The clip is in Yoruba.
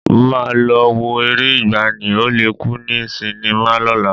Mo máa lọ wo eré ìgbàanì, Ó le kú ní sinimá lọ́la